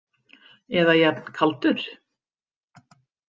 Eða jafn kaldur.